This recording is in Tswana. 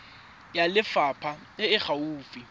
ya lefapha e e gaufi